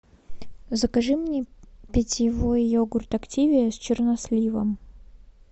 закажи мне питьевой йогурт активиа с черносливом